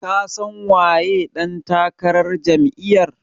Ka san waye ɗan takarar Jam'iyar?